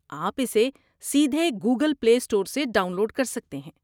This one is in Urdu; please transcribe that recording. آپ اسے سیدھے گوگل پلے اسٹور سے ڈاؤن لوڈ کر سکتے ہیں۔